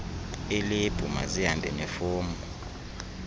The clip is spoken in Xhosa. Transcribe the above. elebhu mazihambe nefomu